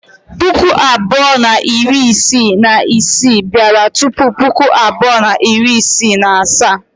Puku abụọ na iri isii na isii bịara tupu Puku abụọ na iri isii na asaa.